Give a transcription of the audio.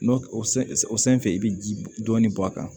N'o o san fɛ i bɛ ji dɔɔnin bɔ a kan